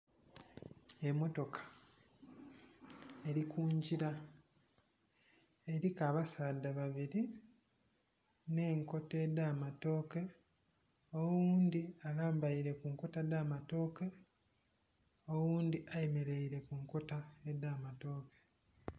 Emotoka eri kungira eriku abasaadha babiri n'enkota edh'amatooke oghundhi alambeire kunkota edh'amatooke, oghundhi ayemereire kunkota edh'amatooke.